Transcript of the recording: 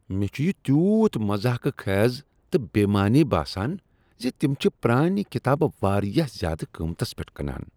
مےٚ چھ یہ تیوٗت مضحکہ خیز تہٕ بے معنی باسان ز تم چھ پرانِہ کتابہٕ واریاہ زیادٕ قۭمتس پؠٹھ کٕنان۔